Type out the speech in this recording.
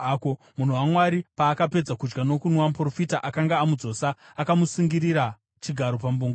Munhu waMwari paakapedza kudya nokunwa, muprofita akanga amudzosa akamusungirira chigaro pambongoro.